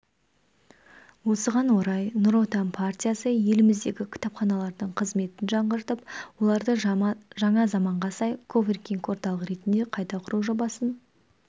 осыған орай нұр отан партиясы еліміздегі кітапханалардың қызметін жаңғыртып оларды жаңа заманға сай коворкинг-орталық ретінде қайта құру жобасын